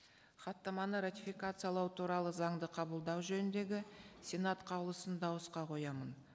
хаттаманы ратификациялау туралы заңды қабылдау жөніндегі сенат қаулысын дауысқа қоямын